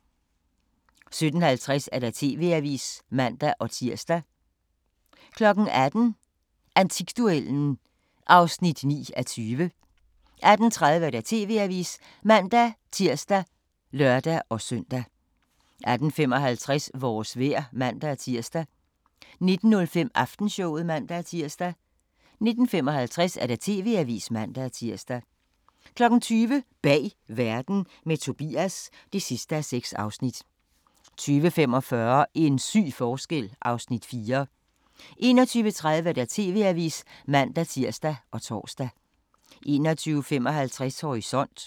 17:50: TV-avisen (man-tir) 18:00: Antikduellen (9:20) 18:30: TV-avisen (man-tir og lør-søn) 18:55: Vores vejr (man-tir) 19:05: Aftenshowet (man-tir) 19:55: TV-avisen (man-tir) 20:00: Bag verden – med Tobias (6:6) 20:45: En syg forskel (Afs. 4) 21:30: TV-avisen (man-tir og tor) 21:55: Horisont